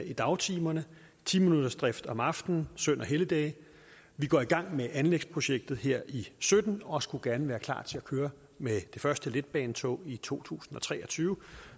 i dagtimerne og ti minuttersdrift om aftenen og søn og helligdage vi går i gang med anlægsprojektet her i sytten og skulle gerne være klar til at køre med det første letbanetog i to tusind og tre og tyve